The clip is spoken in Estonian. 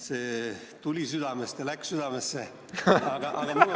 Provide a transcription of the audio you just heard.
See tuli südamest ja läks südamesse!